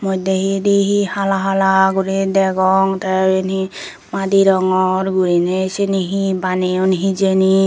moddey hidi hi hala hala guri degong tey eben hi madi rongor guriney syeni hi baneyon hijeni.